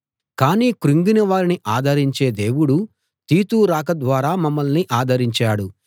కానీ కృంగిన వారిని ఆదరించే దేవుడు తీతు రాక ద్వారా మమ్మల్ని ఆదరించాడు